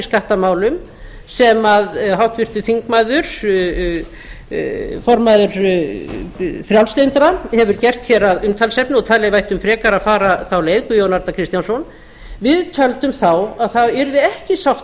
skattamálum sem háttvirtur þingmaður formaður frjálslyndra hefur gert að umtalsefni og talið að við ættum frekar að fara þá leið guðjón arnar kristjánsson við töldum þá að það yrði ekki sátt